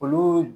Olu